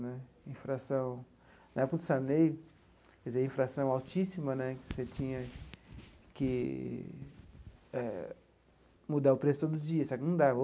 Né inflação na época do Sarney, quer dizer inflação altíssima né, você tinha que eh mudar o preço todo dia só que não dava.